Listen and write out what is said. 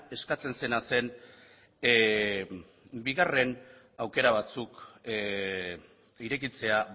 eskatzen zena zen bigarren aukera batzuk irekitzea